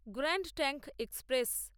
grand Trunk express